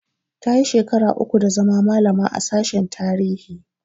Tayi shekara uku da zama malama a sashen tarihi